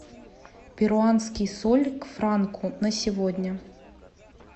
перуанский соль к франку на сегодня